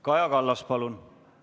Kaja Kallas, palun!